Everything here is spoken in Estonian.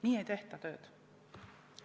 Nii ei tehta tööd.